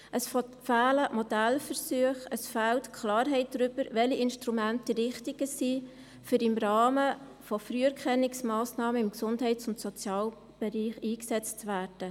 Es fehlen Modellversuche, es fehlt Klarheit darüber, welche Instrumente die richtigen sind, um im Rahmen von Früherkennungsmassnahmen im Gesundheits- und Sozialbereich eingesetzt zu werden.